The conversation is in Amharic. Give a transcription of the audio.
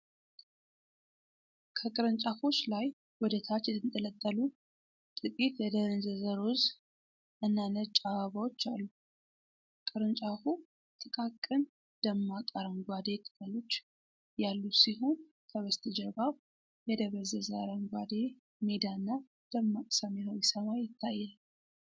ከቅርንጫፎች ላይ ወደ ታች የተንጠለጠሉ ጥቂት የደነዘዘ ሮዝ እና ነጭ አበባዎች አሉ። ቅርንጫፉ ጥቃቅን፣ ደማቅ አረንጓዴ ቅጠሎች ያሉት ሲሆን ከበስተጀርባው የደበዘዘ አረንጓዴ ሜዳና ደማቅ ሰማያዊ ሰማይ ይታያል።